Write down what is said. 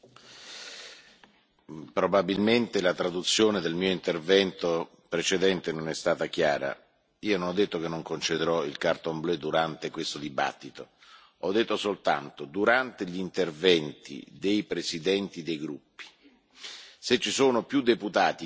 Probabilmente la traduzione del mio intervento precedente non è stata chiara non ho detto che non concederò domande cartellino blu durante questa discussione, ho detto soltanto che durante gli interventi dei presidenti dei gruppi, se ci sono più deputati che prima dell'intervento